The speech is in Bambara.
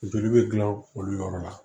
Funteni bɛ gilan olu yɔrɔ la